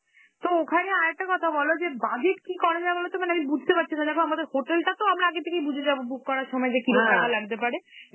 তো ওখানে আর একটা কথা বল যে, budget কি করা যায় বলোতো? মানে আমি বুঝতে পারছি না, দেখো আমাদের hotel টাতো আমরা আগে থেকেই বুঝে যাব book করার সময় যে কি রকম লাগতে পারে,